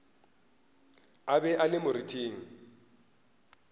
a be a le moriting